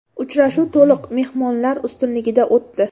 Uchrashuv to‘liq mehmonlar ustunligida o‘tdi.